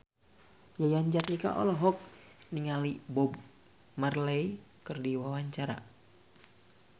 Yayan Jatnika olohok ningali Bob Marley keur diwawancara